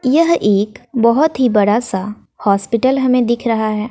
यह एक बहोत ही बड़ा सा हॉस्पिटल हमें दिख रहा हैं।